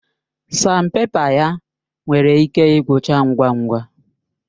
Sanpèpa ya nwere ike igwucha ngwa ngwa